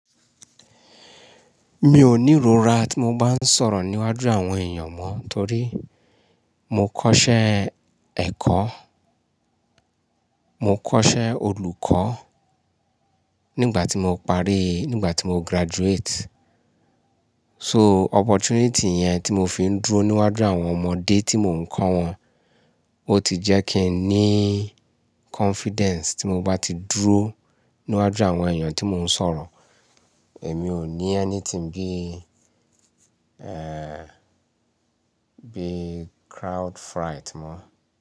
Mi ò ní ìrora tí mo bá ń sọ̀rọ̀ níwájú àwọn èèyàn mọ́ torí mo kọ́ṣẹ́ ẹ̀kọ́, mo kọ́ṣẹ́ olùkọ́ nígbà tí mo parí, nígbà tí mo graduate. So opportunity yẹn tí mo fi ń dúró níwájú àwọn ọmọdé tí mò ń kọ́ wọn, ó ti jẹ́ kí n ní confidence tí mo bá ti dúró níwájú àwọn èèyàn tí mò ń sọ̀rọ̀. Èmi ò ní anything bí, bí crowd fright mọ́.